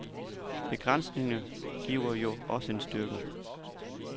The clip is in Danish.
Begrænsninger giver jo også en styrke.